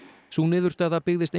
sú niðurstaða byggðist